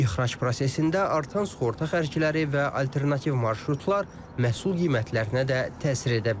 İxrac prosesində artan sığorta xərcləri və alternativ marşrutlar məhsul qiymətlərinə də təsir edə bilər.